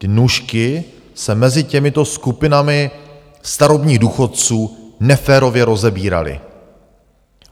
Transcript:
Ty nůžky se mezi těmito skupinami starobních důchodců neférově rozevíraly.